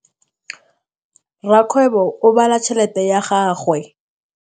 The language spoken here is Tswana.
Rakgwêbô o bala tšheletê ya gagwe.